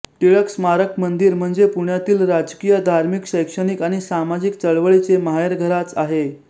टिळक स्मारक मंदिर म्हणजे पुण्यातील राजकीय धार्मिक शैक्षणिक आणि सामाजिक चळवळीचे माहेरघराच आहे